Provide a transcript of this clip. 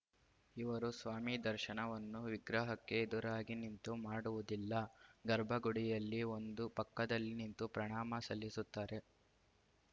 ಇವರು ಸ್ವಾಮಿ ದರ್ಶನವನ್ನು ವಿಗ್ರಹಕ್ಕೆ ಎದುರಾಗಿ ನಿಂತು ಮಾಡುವುದಿಲ್ಲ ಗರ್ಭಗುಡಿಯಲ್ಲಿ ಒಂದು ಪಕ್ಕದಲ್ಲಿ ನಿಂತು ಪ್ರಣಾಮ ಸಲ್ಲಿಸುತ್ತಾರೆ